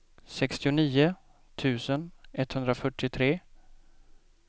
sextionio tusen etthundrafyrtiotre